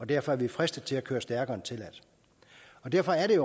derfor fristet til at køre stærkere end tilladt derfor er det